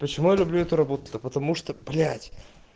почему я люблю эту работу да потому что блять